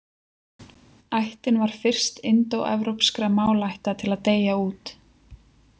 Ættin var fyrst indóevrópskra málaætta til að deyja út.